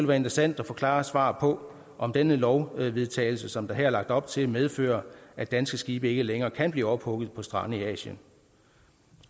være interessant at få klare svar på om denne lovvedtagelse som der her er lagt op til medfører at danske skibe ikke længere kan blive ophugget på strande i asien